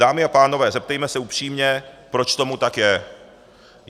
Dámy a pánové, zeptejme se upřímně, proč tomu tak je.